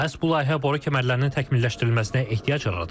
Məhz bu layihə boru kəmərlərinin təkmilləşdirilməsinə ehtiyac yaradır.